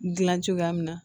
Gilan cogoya min na